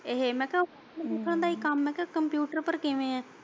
ਇਹੀ ਮੈਂ ਕਿਹਾ ਦਾ ਹੀ ਕੰਮ ਏ ਮੈਂ ਕਿਹਾ ਕੰਪਿਊਟਰ ਉੱਪਰ ਕਿਵੇਂ ਏ।